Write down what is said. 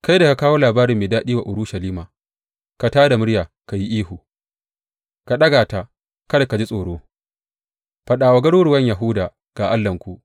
Kai da ka kawo labari mai daɗi wa Urushalima, ka tā da muryarka ka yi ihu, ka ɗaga ta, kada ka ji tsoro; faɗa wa garuruwan Yahuda, Ga Allahnku!